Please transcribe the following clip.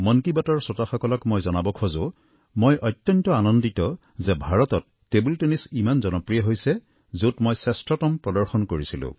মন কী বাতৰ শ্ৰোতাসকলক মই জনাব খোজোঁ মই অত্যন্ত আনন্দিত যে ভাৰতত টেবুল টেনিছ ইমান জনপ্ৰিয় হৈছে যত মই শ্ৰেষ্ঠতম প্ৰদৰ্শন কৰিছিলোঁ